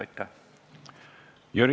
Aitäh!